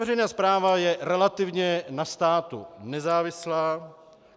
Veřejná správa je relativně na státu nezávislá.